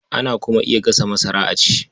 Ana kuma iya gasa masara a ci.